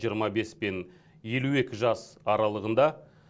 жиырма бес пен елу екі жас аралығында